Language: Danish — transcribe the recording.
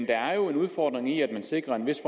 der er en udfordring i at sikre en vis